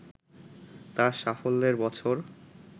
তার সাফল্যের বছর